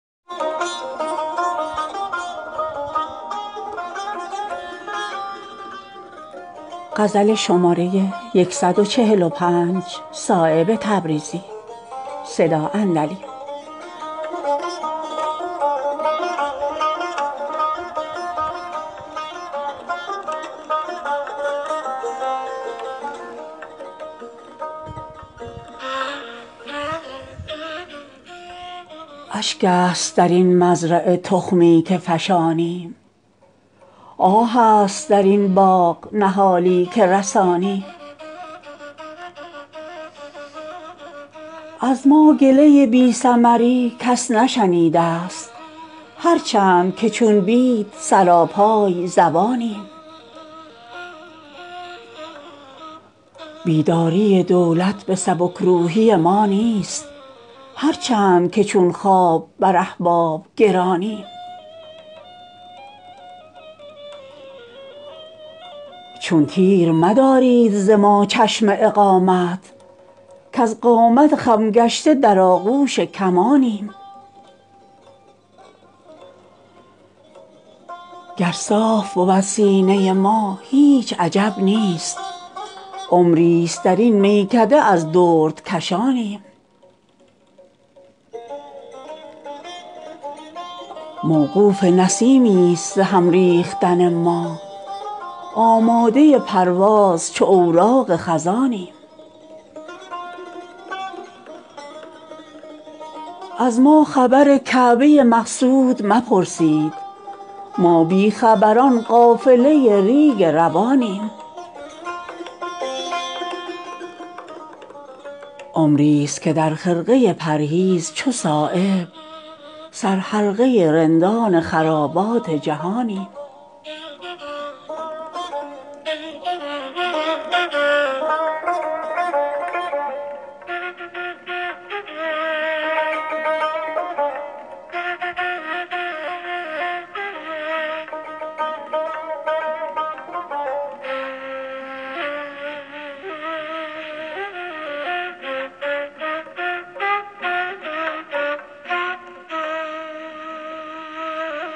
اشک است درین مزرعه تخمی که فشانیم آه است درین باغ نهالی که رسانیم گرد سفر از جبهه ما شسته نگردد تا رخت چو سیلاب به دریا نکشانیم از ما گله بی ثمری کس نشنیده است هر چند که چون بید سراپای زبانیم در باغ چناری به کهنسالی ما نیست چون سرو اگر در نظر خلق جوانیم بر گوهر سیراب نباشد نظر ما ما حلقه بگوش صدف پاک دهانیم بیداری دولت به سبکروحی ما نیست هر چند که چون خواب بر احباب گرانیم از ما مگذر زود کز اندیشه نازک شیرازه یاقوت لبان چون رگ کانیم چون تیر مدارید ز ما چشم اقامت کز قامت خم گشته در آغوش کمانیم موقوف نسیمی است ز هم ریختن ما آماده پرواز چو اوراق خزانیم گر صاف بود سینه ما هیچ عجب نیست عمری است درین میکده از درد کشانیم با تازه خطانیم نظر باز ز خوبان صد شکر که از جمله بالغ نظرانیم پیری نتوان یافت به دل زندگی ما باقامت خم صیقل آیینه جانیم از ما خبر کعبه مقصود مپرسید ما بیخبران قافله ریگ روانیم باشد زر گل راز فلک در نظر ما هر چند چو نرگس به ته پا نگرانیم چندین رمه را برگ و نواییم ز کوشش هر چند که بی برگ تر از چوب شبانیم عمری است که در خرقه پرهیز چو صایب سر حلقه رندان خرابات جهانیم